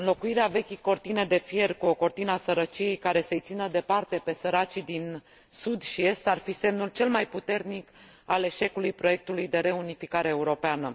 Înlocuirea vechii cortine de fier cu o cortină a sărăciei, care să i țină departe pe săracii din sud și est, ar fi semnul cel mai puternic al eșecului proiectului de reunificare europeană.